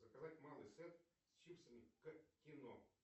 заказать малый сет с чипсами к кино